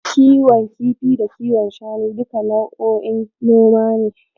Kiwon kifi da kiwon shanu duka nau'o'in noma ne.